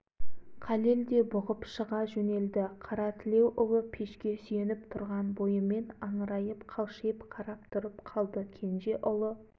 уай шырағым қарақтарым қойыңдар деп жанша араға түсті съезд у-шу болды кейбіреулер қаша жөнелді кейбіреулері аңырайып